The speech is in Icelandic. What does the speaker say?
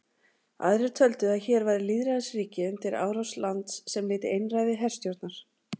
Aðrir töldu að hér væri lýðræðisríki undir árás lands sem lyti einræði herstjórnar.